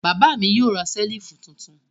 Bàbá mi yóò ra ṣẹ́lífù tuntun.